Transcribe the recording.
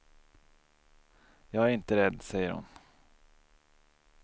Jag är inte rädd, säger hon.